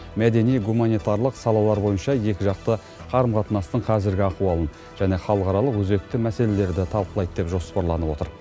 мәдени гуманитарлық салалар бойынша екіжақты қарым қатынастың қазіргі ахуалын және халықаралық өзекті мәселелерді талқылайды деп жоспарланып отыр